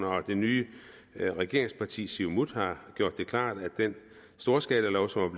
og det nye regeringsparti siumut har gjort det klart af den storskalalov som